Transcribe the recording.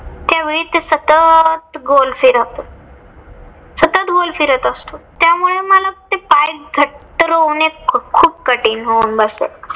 त्यावेळी ते सतत गोल फिरतं राहतं. सतत गोल फिरत असतो त्यामुळे मला ते पाय घट्ट रोवणे खूप कठीण होऊन बसे.